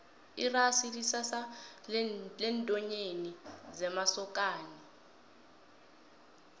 irasi sisambatho sentanyeni semasokani